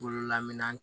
Bololaman